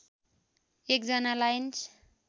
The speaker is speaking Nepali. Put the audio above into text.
१ जना लाइन्स